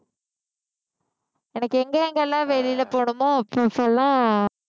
எனக்கு எங்க எங்கெல்லாம் வெளியில போகணுமோ அப்ப அப்ப எல்லாம்